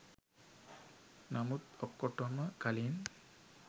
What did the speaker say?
නමුත් ඔක්කොටම කලින්